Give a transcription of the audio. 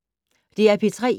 DR P3